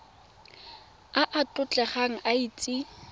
a a tlotlegang a itse